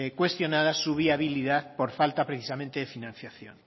cuestionadas su viabilidad por falta precisamente de financiación